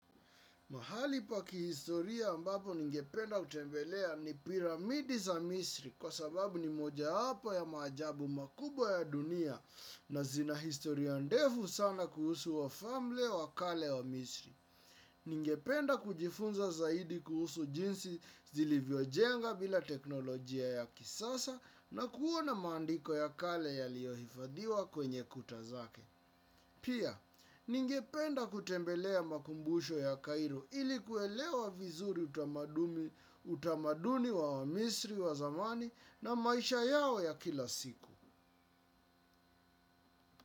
Mahali pa kihistoria ambapo ningependa kutembelea ni piramidi za misri kwa sababu ni moja wapo ya maajabu makubwa ya dunia na zina historia ndefu sana kuhusu wafalme wa kale wa misri. Ningependa kujifunza zaidi kuhusu jinsi zilivyojenga bila teknolojia ya kisasa na kuona mandiko ya kale yaliyohifadhiwa kwenye kuta zake. Pia, ningependa kutembelea makumbusho ya Cairo ili kuelewa vizuri utamaduni wa wamisri wa zamani na maisha yao ya kila siku.